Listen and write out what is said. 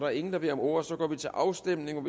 er ingen der beder om ordet og så går vi til afstemning